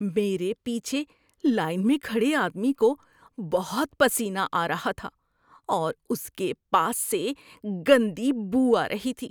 میرے پیچھے لائن میں کھڑے آدمی کو بہت پسینہ آ رہا تھا اور اس کے پاس سے گندی بو آ رہی تھی۔